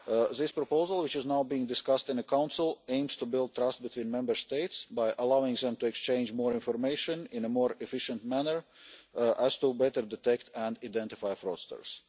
This proposal, which is now being discussed in the Council, aims to build trust between Member States by allowing them to exchange more information, in a more efficient manner, so as to better detect and identify fraudsters.